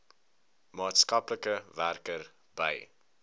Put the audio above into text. maatskaplike werker by